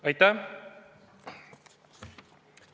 Aitäh!